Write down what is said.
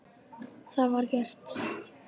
Það var gert.